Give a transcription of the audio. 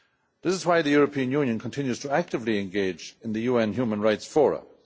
This is why the European Union continues actively to engage in the UN human rights forums.